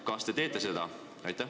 Kas te teete seda?